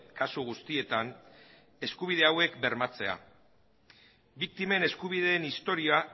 kasu guztietan eskubide hauek bermatzea biktimen eskubideen historia